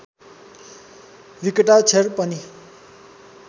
विकटाक्षर पनि